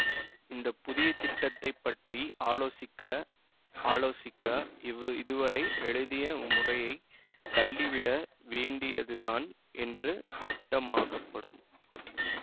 இந்த புதிய திட்டத்தை பற்றி ஆலோசிக்க ஆலோசிக்க இவ் இதுவரை எழுதிய முறையை தள்ளிவிட வேண்டியதுதான் என்று திட்டமாகப்படும்